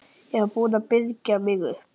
Ég var búin að byrgja mig upp.